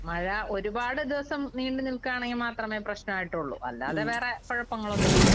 മഴ ഒരുപാട് ദിവസം നീണ്ട് നിൽക്കാണെങ്കിൽ മാത്രമേ പ്രശ്നായിട്ടൊള്ളു. അല്ലാതെ വേറെ കൊഴപ്പങ്ങളൊന്നുമില്ല.